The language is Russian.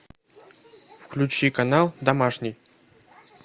включи канал домашний